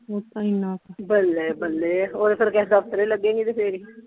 ਓਹ ਤਾਂ ਇਨਾਂ ਕੁ ਬੱਲੇ ਬੱਲੇ ਓਹ ਤਾਂ ਫੇਰ ਕਿਸੇ ਦਫ਼ਤਰੇ ਲਗੇਂਗੀ ਤੇ ਫੇਰ ਹੀ।